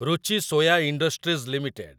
Ruchi Soya industries limited